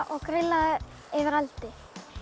og grillað það yfir eldi